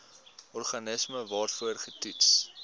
organisme waarvoor getoets